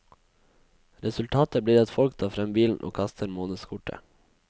Resultatet blir at folk tar frem bilen og kaster månedskortet.